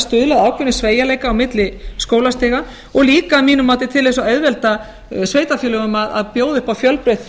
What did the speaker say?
að ákveðnum sveigjanleika á milli skólastiga og líka að mínu mati til að auðvelda sveitarfélögunum til að bjóða upp fjölbreytt